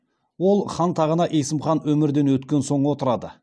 ол хан тағына есім хан өмірден өткен соң отырды